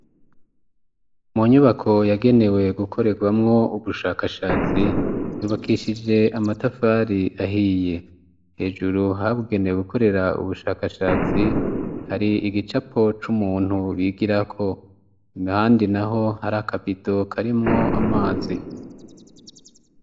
Mu nyubako yagenewe gukorerwamwo ubushakashatsi yubakishije amatafari ahiye, hejuru habugenewe gukorera ubushakashatsi hari igicapo c'umuntu bigirako, n'ahandi naho hari akabido karimwo amazi.